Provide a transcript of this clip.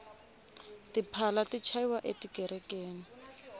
tiphala ti chayiwa e tikerekeni